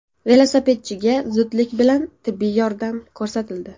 Velosipedchiga zudlik bilan tibbiy yordam ko‘rsatildi.